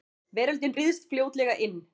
Veröldin ryðst fljótlega inn.